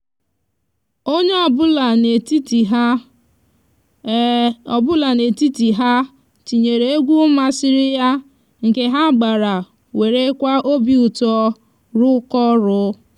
anyi n'arugide onwe anyi ma anyi ma makwa aka iruchapu oru ime ulo anyi um na mgbe akara aka